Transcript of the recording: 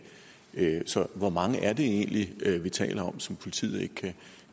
så hvor mange er det egentlig vi taler om som politiet ikke